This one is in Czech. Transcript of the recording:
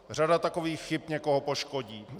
Řada takových chyb někoho poškodí.